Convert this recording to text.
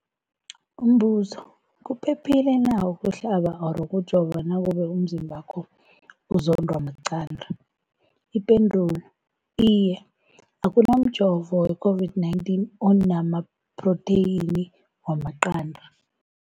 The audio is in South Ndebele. Umbuzo, kuphephile na ukuhlaba, ukujova nakube umzimbakho uzondwa maqanda. Ipendulo, Iye. Akuna mjovo we-COVID-19 ona maphrotheyini wamaqanda.